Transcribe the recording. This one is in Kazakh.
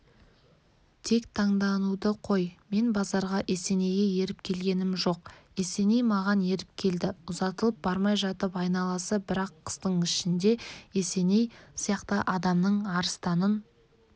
тек таңдануды қой мен базарға есенейге еріп келгенім жоқ есеней маған еріп келді ұзатылып бармай жатып айналасы бір-ақ қыстың ішінде есеней сияқты адамның арыстанын